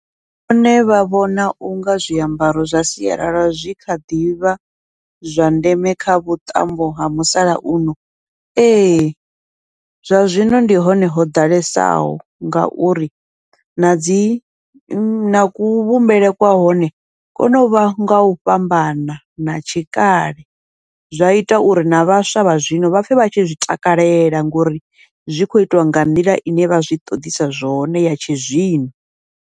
Vhone vha vhona unga zwiambaro zwa sialala zwi kha ḓivha zwa ndeme kha vhuṱambo ha musalauno, ee zwa zwino ndi hone ho ḓalesaho ngauri nadzi na kuvhumbelwe kwa hone, kono uvha ngau fhambana na tshikale. Zwa ita uri na vhaswa vha zwino vha pfhe vha tshi zwi takalela, ngori zwi kho itwa nga nḓila ine vha zwi ṱoḓisa zwone ya tshi zwino.